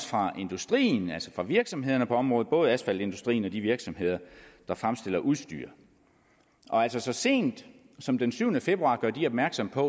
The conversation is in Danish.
fra industrien altså fra virksomhederne på området både asfaltindustrien og de virksomheder der fremstiller udstyr altså så sent som den syvende februar gør de opmærksom på